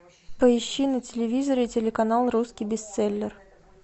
поищи на телевизоре телеканал русский бестселлер